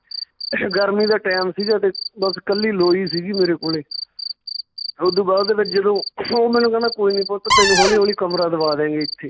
ਗਰਮੀ ਦਾ time ਸੀਗਾ ਤੇ ਬਸ ਕੱਲੀ ਲੋਈ ਸੀਗੀ ਮੇਰੇ ਕੋਲੇ ਓਦੂ ਬਾਅਦ ਦੇ ਵਿੱਚ ਜਦੋਂ ਉਹ ਮੈਨੂੰ ਕਹਿੰਦਾ ਕੋਈ ਨੀਂ ਪੁੱਤ ਤੈਨੂੰ ਹੌਲੀ ਹੌਲੀ ਕਮਰਾ ਦਵਾ ਦਵਾਂਗੇ ਏਥੇ